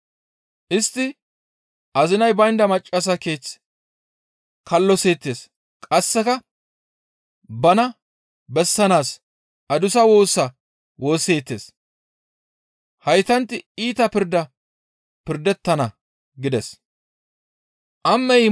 Istti azinay baynda maccassa keeth kalloseettes; qasseka bana bessanaas adussa woosa woosseettes. Haytanti iita pirda pirdettana» gides.